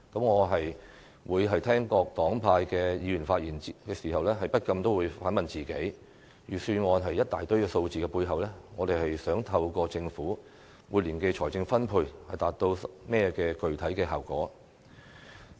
我在聆聽各黨派議員的發言時，不禁也會反問自己，在預算案一大堆數字的背後，我們想透過政府每年的財政分配，達到甚麼具體效果？